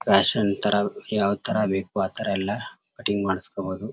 Fashion ತರ ಯಾವ ತರಬೇಕು ಆತರ ಎಲ್ಲ ಕಟಿಂಗ್ ಮಾಡ್ಸ್ಕೊಬೋದು .